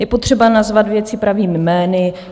Je potřeba nazvat věci pravými jmény.